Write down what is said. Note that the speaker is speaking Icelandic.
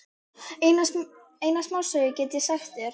Eina smásögu get ég sagt þér.